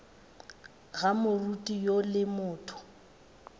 ga moriti woo le motho